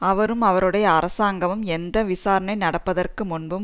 அவரும் அவருடைய அரசாங்கமும் எந்த விசாரணை நடப்பதற்கு முன்பும்